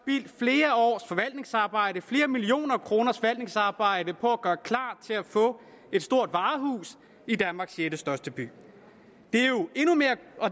forvaltningsarbejde flere millioner kroners forvaltningsarbejde på at gøre klar til at få et stort varehus i danmarks sjettestørste by